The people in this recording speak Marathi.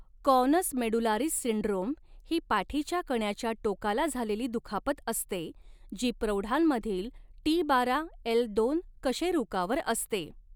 कॉनस मेडुलारिस सिंड्रोम ही पाठीच्या कण्याच्या टोकाला झालेली दुखापत असते जी प्रौढांमधील टी बारा एल दोन कशेरुकावर असते.